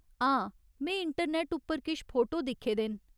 हां, में इंटरनैट्ट उप्पर किश फोटो दिक्खे दे न।